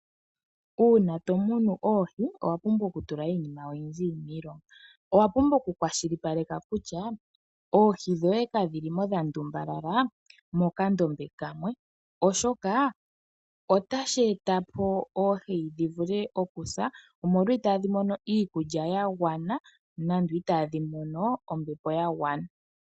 Uuna to muna oohi owa pumbwa okutula iinima oyindji miilonga. Owa pumbwa okukwashipaleka kutya oohi dhoye kadhi li mo dha ndumbalala mokandombe kamwe, oshoka otashi eta po oohi dhi vule okusa, omolwa itaadhi mono iikulya ya gwana nande itaadhi mono ombepo ya gwana.